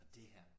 Dét her